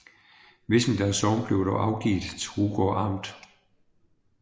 Vissenbjerg Sogn blev dog afgivet til Rugård Amt